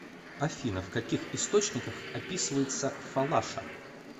афина в каких источниках описывается фалаша